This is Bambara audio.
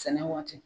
Sɛnɛ waati